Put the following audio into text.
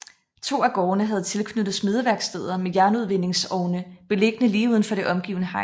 To af gårdene havde tilknyttet smedeværksteder med jernudvindingsovne beliggende lige uden for det omgivende hegn